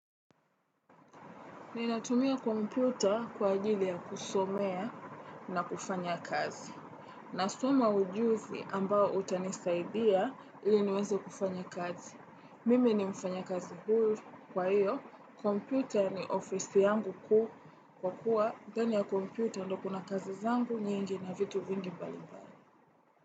Ninatumia kompyuta kwa ajili ya kusomea na kufanya kazi. Nasoma ujuzi ambao utanisaidia ili niweze kufanya kazi. Mimi ni mfanyakazi huru kwa hiyo. Kompyuta ni ofisi yangu kuu kwa kuwa. Ndani ya kompyuta ndio kuna kazi zangu nyingi na vitu vingi mbali mbali.